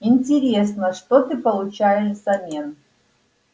интересно что ты получаешь в замен